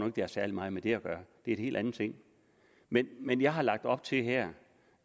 at det har særlig meget med det at gøre det er en helt anden ting men men jeg har her lagt op til